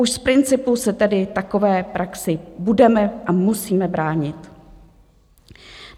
Už z principu se tedy takové praxi budeme a musíme bránit.